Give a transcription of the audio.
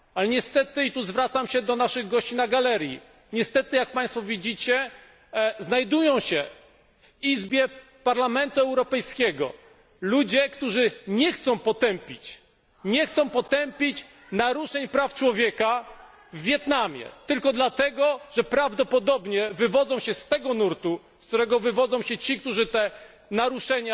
Niestety tutaj zwracam się do naszych gości na galerii jak Państwo widzicie, znajdują się w Izbie Parlamentu Europejskiego ludzie, którzy nie chcą potępić naruszeń praw człowieka w Wietnamie tylko dlatego, że prawdopodobnie wywodzą się z tego nurtu, z którego wywodzą się ci, którzy do tych naruszeń